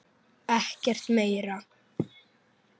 Ekkert meira?